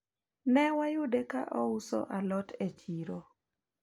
ne wayude ka ouso alot e chiro